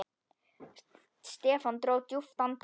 Stefán dró djúpt andann.